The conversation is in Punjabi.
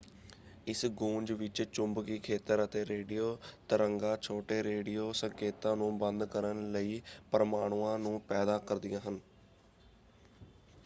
ਇਸ ਗੂੰਜ ਵਿੱਚ ਚੁੰਬਕੀ ਖੇਤਰ ਅਤੇ ਰੇਡੀਓ ਤਰੰਗਾਂ ਛੋਟੇ ਰੇਡੀਓ ਸੰਕੇਤਾਂ ਨੂੰ ਬੰਦ ਕਰਨ ਲਈ ਪਰਮਾਣੂਆਂ ਨੂੰ ਪੈਦਾ ਕਰਦੀਆਂ ਹਨ।